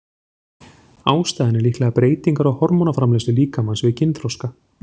Ástæðan er líklega breytingar á hormónaframleiðslu líkamans við kynþroska.